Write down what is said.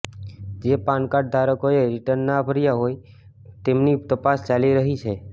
જે પાનકાર્ડ ધારકોએ રિટર્ન ના ભર્યાં હોય તેમની તપાસ ચાલી રહી છે